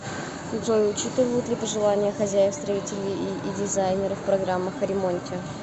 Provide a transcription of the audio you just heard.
джой учитывают ли пожелания хозяев строители и дизайнеры в программах о ремонте